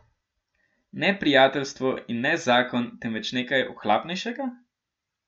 Ne prijateljstvo in ne zakon, temveč nekaj ohlapnejšega?